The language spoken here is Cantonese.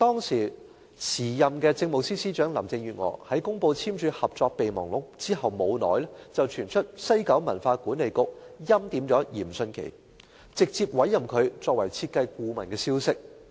時任政務司司長林鄭月娥在公布簽署《合作備忘錄》後不久，便傳出西九管理局欽點嚴迅奇，直接委任他成為設計顧問的消息。